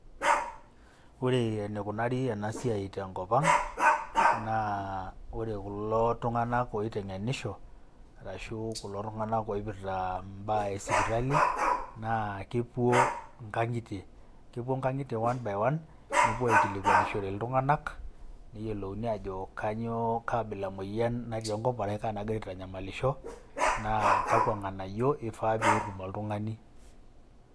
Ore enikunari ena siai te nkop ang' naa ore kulo tung'anak oiteng'enisho arashu kulo tung'anak oipirta imbaa e sipitali naa kepuo nkang'itie nkang'itie one by one nepuo aikilikwanishore iltung'anak neyolouni ajo kanyoo kaa abila emoyian natii enkop arashu kaa nagira aitanyamalisho naa kakwa ng'anayio ifaa peetum oltung'ani.